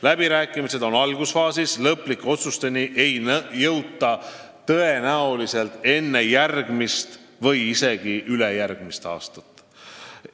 Läbirääkimised on algusfaasis, lõplike otsusteni ei jõuta tõenäoliselt enne järgmist või isegi ülejärgmist aastat.